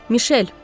Mişel!